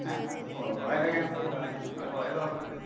പോവാനൊക്കെ ഞമ്മക്ക് പോവാം ഞമ്മള് പോയതോർമ്മില്ലേ?